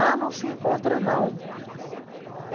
Ah, não se encontra, não.